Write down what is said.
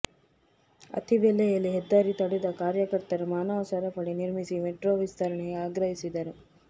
ಅತ್ತಿಬೆಲೆಯಲ್ಲಿ ಹೆದ್ದಾರಿ ತಡೆದ ಕಾರ್ಯಕರ್ತರು ಮಾನವ ಸರಪಳಿ ನಿರ್ಮಿಸಿ ಮೇಟ್ರೋ ವಿಸ್ತರಣೆಗೆ ಆಗ್ರಹಿಸಿದರು